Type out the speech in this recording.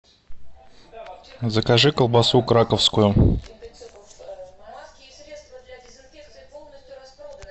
закажи колбасу краковскую